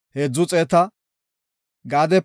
Yisakoorape 54,400